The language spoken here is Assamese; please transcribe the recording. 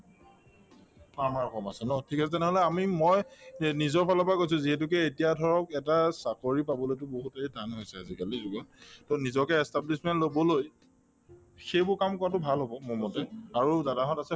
অ, ন ঠিক আছে নহলে মই এই নিজৰফালৰ পৰা কৈছো যিহেতুকে এতিয়া ধৰক এটা চাকৰি পাবলৈকে বহুতে টান হৈছে আজিকালিৰ যুগত to নিজকে establishment লবলৈ সেইবোৰ কাম কৰাতো ভাল হব মোৰমতে আৰু দাদাহঁত আছে